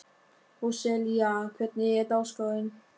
Róselía, hvernig er dagskráin?